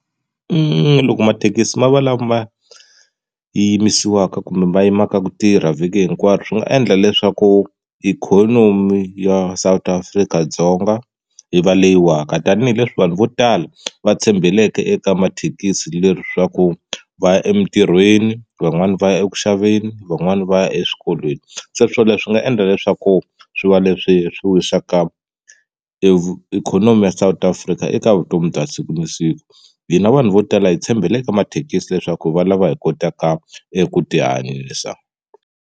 Loko mathekisi ma va lama yimisiwaka kumbe ma yimaka ku tirha vhiki hinkwaro swi nga endla leswaku ikhonomi ya South Afrika-Dzonga yi va leyi waka tanihileswi vanhu vo tala va tshembeleke eka mathekisi leswaku va ya emitirhweni van'wani va ya eku xaveni van'wani va ya eswikolweni se swilo leswi nga endla leswaku swi va leswi swi wisaka ikhonomi ya South Africa eka vutomi bya siku na siku hina vanhu vo tala hi tshembele ka mathekisi leswaku hi va lava hi kotaka eku ti hanyisa.